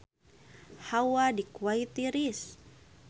Hawa di Kuwait tiris